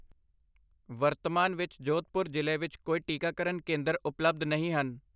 ਵਰਤਮਾਨ ਵਿੱਚ ਜੋਧਪੁਰ ਜ਼ਿਲ੍ਹੇ ਵਿੱਚ ਕੋਈ ਟੀਕਾਕਰਨ ਕੇਂਦਰ ਉਪਲਬਧ ਨਹੀਂ ਹਨ।